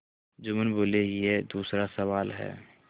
जुम्मन बोलेयह दूसरा सवाल है